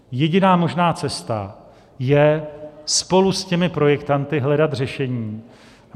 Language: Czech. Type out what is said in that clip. Jediná možná cesta je spolu s těmi projektanty hledat řešení.